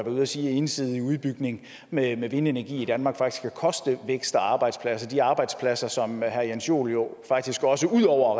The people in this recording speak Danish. ude at sige at en ensidig udbygning med med vindenergi i danmark faktisk kan koste vækst og arbejdspladser de arbejdspladser som herre jens joel jo faktisk også ud over